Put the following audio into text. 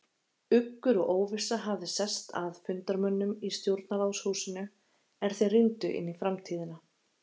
Uggur og óvissa hafði sest að fundarmönnum í Stjórnarráðshúsinu, er þeir rýndu inn í framtíðina.